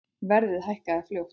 Verðið hækkaði fljótt.